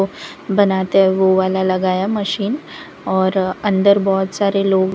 बनाते हैं वो वाला लगाया मशीन और अंदर बहुत सारे लोग--